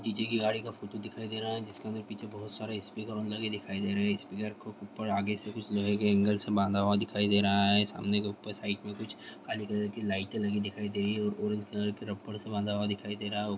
DJ. की गाड़ी का फोटो दिखाई दे रहा है जिसके हमें पीछे बहुत सारे स्पीकर लगे दिखाई दे रहे है। स्पीकर को ऊपर आगे से लोहे के ऐंगल से बांधा हुआ दिखाई दे रहा है। सामने ऊपर के साइड बांधा हुआ दिख रहा है। सामने के ऊपर साइड में कुछ काली कलर की लाइटें लगी दिखाई दे रही है और ऑरेंज कलर के रबड़ से बांधा हुआ दिखाई दे रहा है।